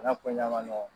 N'a ko ɲɛ ma nɔgɔn